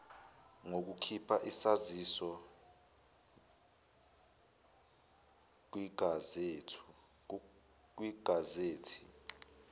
ngokukhipha isaziso kwigazethi